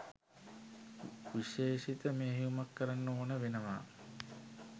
විශේෂිත මෙහෙයුමක් කරන්න ඕන වෙනවා